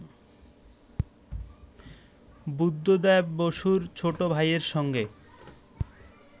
বুদ্ধদেব বসুর ছোট ভাইয়ের সঙ্গে